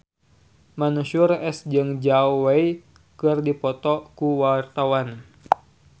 Mansyur S jeung Zhao Wei keur dipoto ku wartawan